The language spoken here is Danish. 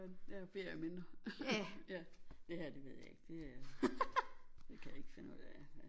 Ja ja ferieminder ja det her det ved jeg ikke det er det kan jeg ikke finde ud af